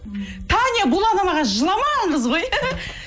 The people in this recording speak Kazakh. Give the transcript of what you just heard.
таня булановаға жыламаған қыз ғой